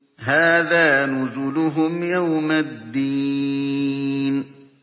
هَٰذَا نُزُلُهُمْ يَوْمَ الدِّينِ